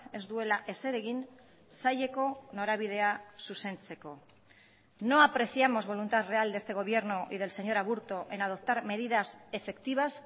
ez duela ezer egin saileko norabidea zuzentzeko no apreciamos voluntad real de este gobierno y del señor aburto en adoptar medidas efectivas